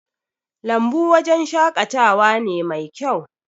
lambu wajen shakatawa ne Mai kyau